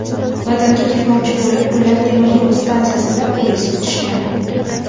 Vatanga ketmoqchi bo‘lib, ular temiryo‘l stansiyasida poyezd kutishgan.